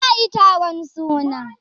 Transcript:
za a yi taron suna?